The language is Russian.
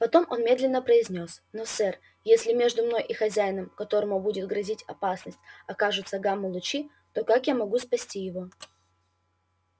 потом он медленно произнёс но сэр если между мной и хозяином которому будет грозить опасность окажутся гамма-лучи то как я могу спасти его